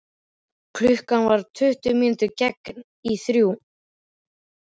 Klukkan var tuttugu mínútur gengin í þrjú.